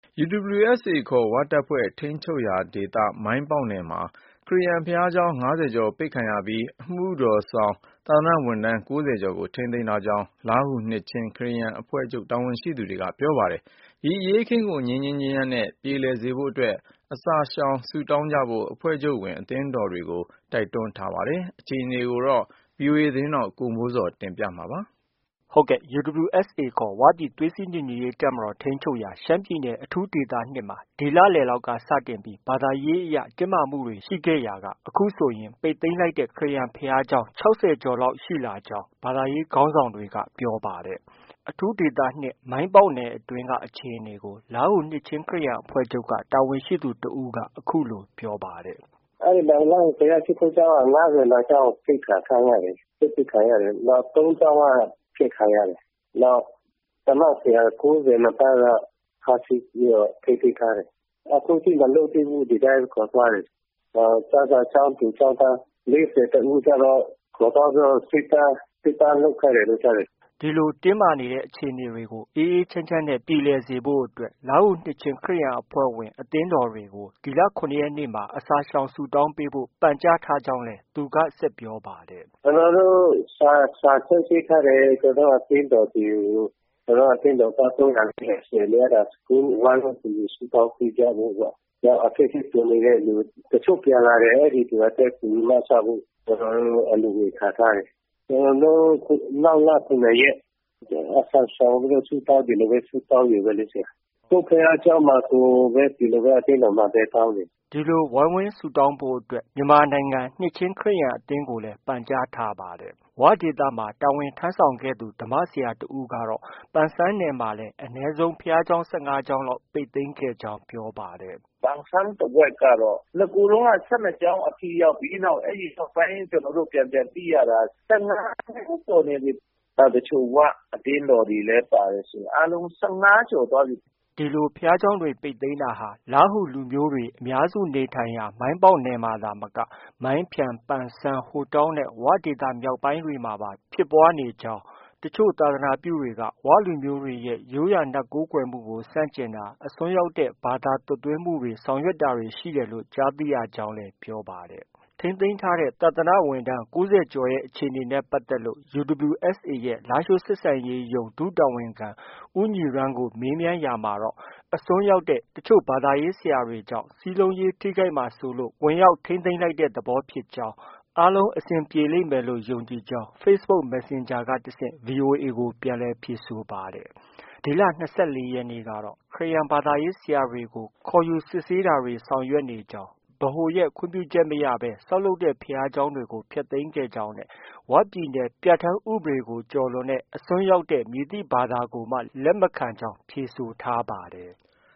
UWSA ခေါ် ၀ တပ်ဖွဲ့ထိန်းချုပ်ရာဒေသက မိုင်းပေါက်နယ်အတွင်းမှာ ခရစ်ယာန်ဘုရားကျောင်း ၅၀ကျော်ပိတ်ခံရပြီး အမှုတော်ဆောင်သာသနာဝန်ထမ်း ၉၀ကျော်ကို ထိန်းသိမ်းထားကြောင်း လားဟူ နှစ်ခြင်း ခရစ်ယာန်အဖွဲ့ချုပ်က တာဝန်ရှိသူက ပြောပါတယ်။ ဒီအရေးအခင်းကို ငြိမ်းငြိမ်းချမ်းချမ်းနဲ့ ပြေလည်စေဖို့အတွက်လည်း အစာရှောင်ဆုတောင်းကြဖို့အတွက် အဖွဲ့ချုပ်ဝင် အသင်းတော်တွေ ကိုတိုက်တွန်းထားပါတယ်။ ဒီသတင်းကို ဗွီအိုအေမြန်မာပိုင်းရဲ့သတင်းထောက် ကိုမိုးဇော်က တင်ပြထားပါတယ်။ UWSA ခေါ် ဝပြည်သွေးစည်းညီညွတ်ရေးတပ်မတော် ထိန်းချုပ်ရာ ရှမ်းပြည်နယ် အထူးဒေသ ၂မှာ ဒီလလည်လောက်က စတင်ပြီး ဘာသာရေးအရ တင်းမာမှုတွေ ရှိခဲ့ရာက အခုဆိုရင် အခုဆိုရင် ပိတ်သိမ်းလိုက်တဲ့ ခရစ်ယာန်ဘုရားကျောင်း ၆၀ကျော်လောက်ရှိလာကြောင်း ဘာသာရေးခေါင်းဆောင်တွေက ပြောပါတယ်။ အထူးဒေသ၂ က မိုင်းပေါက်နယ်အတွင်းက အခြေအနေကို လားဟူနှစ်ခြင်းခရစ်ယာန် အဖွဲ့ချုပ်က တာဝန်ရှိသူ တဦးက အခုလို ပြောပါတယ်။ “ အဲဒီမှာ လားဟူဘုရားရှိခိုးကျောင်းက ၅၂ကျောင်းပိတ်ခံထားရတယ်။ ချိတ်ပိတ်ခံရတယ်။ ၃ကျောင်းက ဖျက်ခံရတယ်။ နောက် ဓမ္မဆရာ ၉၂ပါးက ဖမ်းဆီးပြီးတော့ ထိန်းသိမ်းထားတယ်။ အခုထိမလွှတ်သေးဘူး။ ဒီတိုင်းခေါ်သွားတယ်။ နောက် ကျမ်းစာကျောင်းသူ ကျောင်းသား ၄၁ဦးကျတော့ ခေါ်သွားပြီးတော့ စစ်သား လုပ်ခိုင်းတယ်လို့ ကြားတယ်။ ” ဒီလို တင်းမာနေတဲ့အခြေအနေတွေကို အေးအေးချမ်းချမ်းနဲ့ ပြေလည်စေဖို့အတွက် လားဟူနှစ်ခြင်းခရစ်ယာန် အဖွဲ့ချုပ်ဝင် အသင်းတော်တွေကို နောက်လ ၇ရက်နေ့မှာ အစာရှောင်ဆုတောင်းပေးဖို့ ပန့်ကြားထားကြောင်း လည်း ဆက်ပြောပါတယ်။ “ ကျနော်တို့ စာထုတ်ပေးထားတယ်။ ကျနော်တို့ အသင်းတော်တွေကို။ ကျနော်တို့ အသင်းတော်တွေက ၃၀၀- ၄၀၀ ရှိတယ်လေ အဲဒါ ဝိုင်းဝန်းကူညီဆုတောင်းပေးကြဖို့ပေါ့။ နောက်အခက်အခဲကြုံနေတဲ့လူ၊ တချို့ပြန်လာတယ်၊ အဲဒီလူတွေအတွက် ကူညီမစဖို့ လိုအပ်တဲ့ အလှုငွေ ခံထားတယ်။ နောက်လ ၇ရက် ဒီလိုပဲ အစာရှောင်ပြီး ဆုတောင်းရုံပဲလေ။ ကိုယ့်ဘုရားကျောင်းမှာ ကိုယ် ဒီလိုပဲ အသင်းတော်မှာပဲ တောင်းမယ်။” ဒီလို ဝိုင်းဝန်းဆုတောင်းဖို့အတွက် မြန်မာနိုင်ငံ နှစ်ခြင်းခရစ်ယာန်အသင်းချုပ်ကို ပန့်ကြားထားပါတယ်။ ဝဒေသမှာ တာဝန်ထမ်းဆောင်ခဲ့သူ ဓမ္မဆရာတစ်ဦးကတော့ပန်ဆန်းနယ်မှာလည်း အနည်းဆုံး ဘုရားကျောင်း ၁၅ကျောင်းလောက်ပိတ်ပင်ခဲ့ကြောင်း ပြောပါတယ်။ “ ပန်ဆန်းတဝှိုက်ကတော့ နဂိုတုံးက ၁၂ကျောင်းအထိရောက်ပြီ။ အဲဒီနောက်ပိုင်း ကျနော်တို့ ပြန်ပြန်သိရတာက ၁၅ကျောင်း ကျော်နေပြီ။ တချို့ ၀ အသင်းတော်တွေလည်း ပါတယ်ဆို အားလုံး ၁၅ကျော်နေပြီ။ ” ဒီလိုဘုရားကျောင်းတွေပိတ်သိမ်းတာဟာ လားဟူလူမျိုးတွေအများစုနေထိုင်ရာ မိုင်းပေါက်နယ်မှာသာမက မိုင်းဖျန်၊ ပန်ဆန်း၊ဟိုတောင်းနဲ့ ဝဒေသမြောက်ပိုင်းတွေမှာပါဖြစ်ပွားနေတာဖြစ်ကြောင်းနဲ့ တချို့သာသနာပြုအဖွဲ့တွေက ဝလူမျိုးတွေရဲ့ ရိုးရာနတ်ကိုးကွယ်မှုကို ဆန့်ကျင်တာ၊ အစွန်းရောက်တဲ့ ဘာသာသွတ်သွင်းမှုတွေ ဆောင်ရွက်တာတွေ ရှိတယ်လို့ လည်း ကြားသိရကြောင်း ပြောပါတယ်။ ထိန်းသိမ်းထားတဲ့ သာသနာဝန်ထမ်း ၉၀ကျော်ရဲ့အခြေအနေနဲ့ပတ်သက်လို့ UWSA ရဲ့ လားရှိုးဆက်ဆံရေးရုံး ဒုတာဝန်ခံ ဦးညီရန်းကို မေးမြန်းရာမှာတော့အစွန်းရောက်သောအချို့ဘာသာရေး ဆရာတွေကြောင့် စည်းလုံးရေး ထိခိုက်မှာစိုးလို့ ဝင်ရောက် ထိန်းသိမ်းလိုက်တဲ့ သဘောပါ ၊ အားလုံး အဆင်ပြေပါလိမ့်မယ်လို့ ယုံကြည်ပါတယ်လို့ Facebook messenger က တဆင့် VOA ကို ပြန်လည်ဖြေဆိုထားပါတယ်။ ဒီလ ၂၄ရက်နေ့ကတော့ ခရစ်ယာန်ဘာသာရေးဆရာတွေကို ခေါ်ယူစစ်ဆေးတာတွေ ဆောင်ရွက်နေကြောင်း၊ ဗဟိုရဲ့ ခွင့်ပြုချက်မရဘဲ ဆောက်လုပ်တဲ့ ဘုရားကျောင်းတွေကို ဖျက်သိမ်းခဲ့ကြောင်း၊ ဝပြည်နယ် ပြဌာန်းဥပဒေကို ကျော်လွန်တဲ့ အစွန်းရောက်တဲ့ မည်သည့် ဘာသာကိုမှ လက်မခံကြောင်း ဖြေဆိုထားပါတယ်။